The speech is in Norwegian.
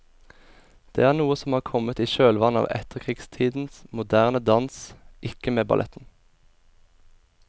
Det er noe som har kommet i kjølvannet av etterkrigstidens moderne dans, ikke med balletten.